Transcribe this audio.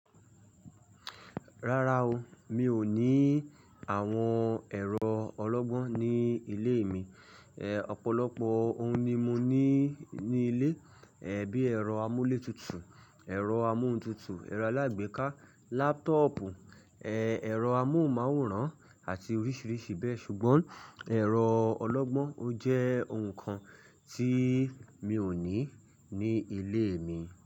Rárá o, mi ò ní àwọn ẹ̀rọ ọlọ́gbọ́n ní ilé mi. Ẹ̀ ọ̀pọ̀lọpọ̀ ohun ni mo ní ní ilé, ẹ́ bí ẹ̀rọ amúlétutù, ẹ̀rọ amóhuntutù, ẹ̀rọ alágbèéká, lápútọ̀ọ̀pù, ẹ́ ẹ̀rọ amóhùnmáwòrán, àti oríṣìíríṣìí bẹ́ẹ̀. Ṣùgbọ́n ẹ̀rọ ọlọ́gbọ́n ò jẹ́ ohun kan tí mi ò ní ní ilé mi.